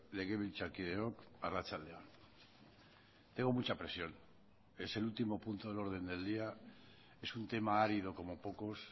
legebiltzarkideok arratsalde on tengo mucha presión es el último punto del orden del día es un tema árido como pocos